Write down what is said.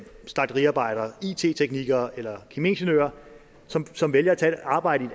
slagteriarbejdere it teknikere eller kemiingeniører som som vælger at tage et arbejde i